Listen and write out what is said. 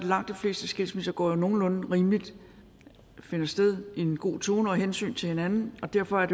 langt de fleste skilsmisser som går nogenlunde rimeligt og finder sted i en god tone hvor hensyn til hinanden og derfor er